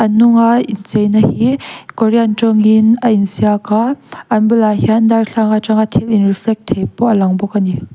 nung a inchei na hi korean tawngin a in ziak a an bulah darthlalang atang a thil in reflect thei pawh a lang a ni.